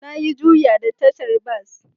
Na yi Juya a tashar bas